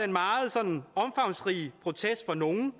meget sådan omfangsrige protest fra nogle